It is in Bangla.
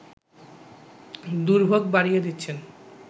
দুর্ভোগ বাড়িয়ে দিচ্ছেন